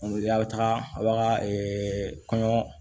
a' bɛ taga a b'a ka kɔɲɔ